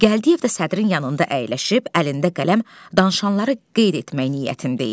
Gəldiyev də sədrin yanında əyləşib, əlində qələm danışanları qeyd etmək niyyətində idi.